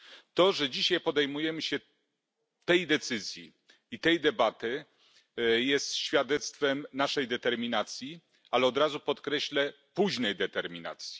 To, że dzisiaj podejmujemy się tej decyzji i tej debaty, jest świadectwem naszej determinacji, ale od razu podkreślę późnej determinacji.